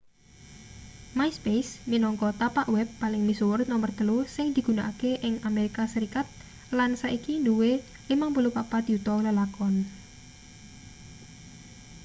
myspace minangka tapak web paling misuwur nomer telu sing digunakake ing amerika serikat lan saiki duwe 54 yuta lelakon